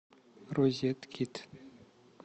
розеткид